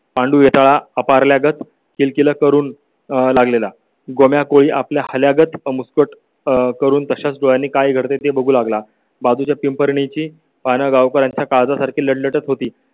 पांगळा अपार लागत किलकिला करून लागलेला गोव्या कोळी आपल्या हल्यागत मुसकुट करून तशाच डोळ्यांनी काय करते ते बघू लागला. बाजूच्या पिंपरणीची पाने गावकर यांचा काळजासारखी लटलटत होती.